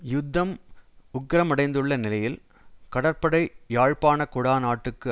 யுத்தம் உக்கிரமடைந்துள்ள நிலையில் கடற்படை யாழ்ப்பாண குடாநாட்டுக்கு